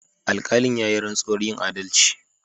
Alkalin ya yi rantsuwar yin adalci.